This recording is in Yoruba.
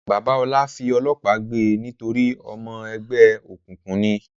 Bàbá Ọlá fi ọlọ́pàá gbe nítorí ọmọ ẹgbẹ́ òkùnkùn ni?